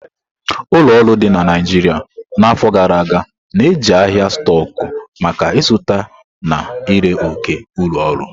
Ụlọ ọrụ dị na Naijiria n'afọ gara aga na-eji ahịa stóku maka izụta na ire ókè ulo oru.